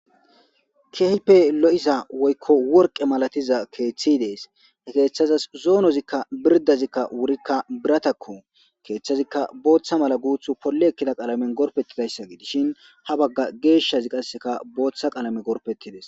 keype lo7isa woykko worqe malatiza keeththi dees keeththazas zoonozikka birdazikka wurikka biratakko keeththazikka booththa mala guuth polle ekkida qalamen gorpettidayssa gi dishin ha bagga geeshshazi qasseka booththa qalame gorpettides